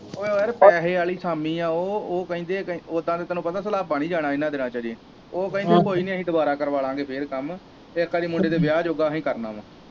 ਉਹ ਯਾਰ ਪੈਸੇ ਆਲੀ ਅਸਾਮੀ ਹੈ ਉਹ ਉਹ ਕਹਿੰਦੇ ਹੈ ਉਦਾਂ ਤੇ ਤੈਨੂੰ ਪਤਾ ਸਲਾਬਾ ਨਹੀਂ ਜਾਣਾ ਇਹਨਾਂ ਦਿਨਾਂ ਚ ਕਦੀ ਉਹ ਕਹਿੰਦੇ ਕੋਈ ਨਹੀਂ ਅਸੀਂ ਦੁਬਾਰਾ ਕਰਵਾ ਲਾਂਗੇ ਫਿਰ ਕੰਮ ਉਦਾਂ ਅਸੀਂ ਮੁੰਡੇ ਦੇ ਵਿਆਹ ਯੋਗਾ ਕਰਨਾ ਵਾ।